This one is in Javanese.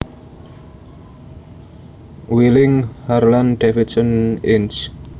Wheeling Harlan Davidson Inc